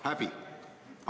Häbi!